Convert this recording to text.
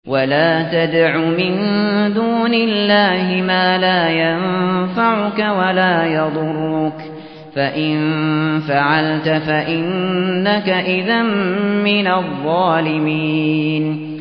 وَلَا تَدْعُ مِن دُونِ اللَّهِ مَا لَا يَنفَعُكَ وَلَا يَضُرُّكَ ۖ فَإِن فَعَلْتَ فَإِنَّكَ إِذًا مِّنَ الظَّالِمِينَ